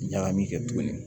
Ɲagami kɛ tuguni